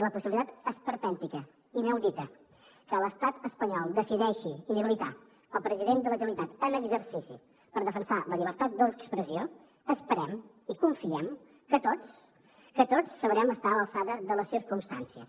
la possibilitat esperpèntica i inaudita que l’estat espanyol decideixi inhabilitar el president de la generalitat en exercici per defensar la llibertat d’expressió esperem i confiem que tots sabrem estar a l’alçada de les circumstàncies